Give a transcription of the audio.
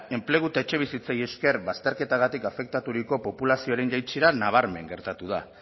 enplegu eta etxebizitzei esker bazterketagatik afektaturiko populazioaren jaitsiera nabarmen gertatu da